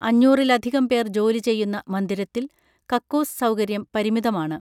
അഞ്ഞൂറിലധികം പേർ ജോലി ചെയ്യുന്ന മന്ദിരത്തിൽ കക്കൂസ് സൗകര്യം പരിമിതമാണ്